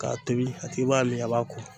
K'a tobi, a tigi b'a miiri a b'a ko.